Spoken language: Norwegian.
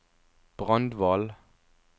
Brandval